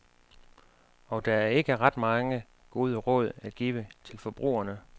Og der er ikke ret mange gode råd at give til forbrugerne.